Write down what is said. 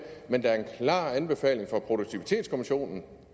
men der er en klar anbefaling fra produktivitetskommissionen